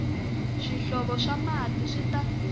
swihlovo swa mati swi ta